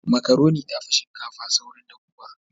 Makaroni ta fi shinkafa saurin dahuwa.